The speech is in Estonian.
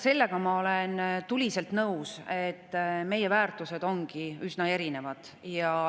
Sellega ma olen tuliselt nõus, et meie väärtused ongi üsna erinevad.